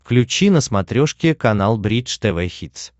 включи на смотрешке канал бридж тв хитс